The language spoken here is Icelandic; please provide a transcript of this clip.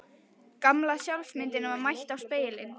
Gamla sjálfsmyndin var mætt í spegilinn.